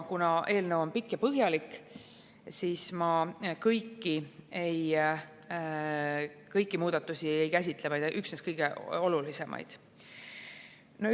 Kuna eelnõu on pikk ja põhjalik, siis ma kõiki muudatusi ei käsitle, üksnes kõige olulisemaid.